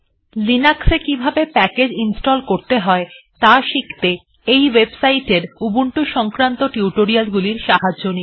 লিনাক্সে কিভাবে package install করতে হয় ত়া শিখতে এই ওয়েবসাইট এর উবুন্টু সংক্রান্ত টিউটোরিয়ালগুলির সাহায্য নিন